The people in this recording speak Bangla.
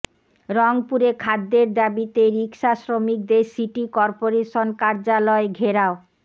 রংপুরে খাদ্যের দাবিতে রিকশা শ্রমিকদের সিটি করপোরেশন কার্যালয় ঘেরাও